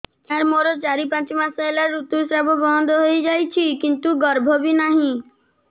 ସାର ମୋର ଚାରି ପାଞ୍ଚ ମାସ ହେଲା ଋତୁସ୍ରାବ ବନ୍ଦ ହେଇଯାଇଛି କିନ୍ତୁ ଗର୍ଭ ବି ନାହିଁ